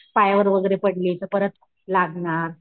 पायावर वगैरे पडली तर परत लागणार.